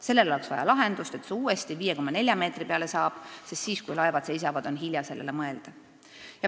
Sellele oleks vaja lahendust, et see uuesti 5,4 meetri peale saab, sest siis, kui laevad seisavad, on hilja sellele mõelda.